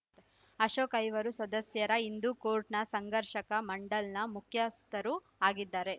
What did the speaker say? ಅಶೋಕ್‌ ಐವರು ಸದಸ್ಯರ ಹಿಂದೂ ಕೋರ್ಟ್‌ನ ಸಂಘರ್ಷಕ ಮಂಡಲ್‌ನ ಮುಖ್ಯಸ್ಥರೂ ಆಗಿದ್ದಾರೆ